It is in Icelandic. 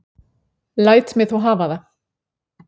Læt mig þó hafa það.